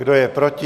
Kdo je proti?